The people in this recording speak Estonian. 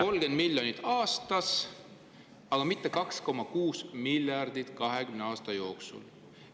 … 30 miljonit aastas, mitte 2,6 miljardit 20 aasta jooksul.